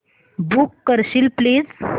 book करशील please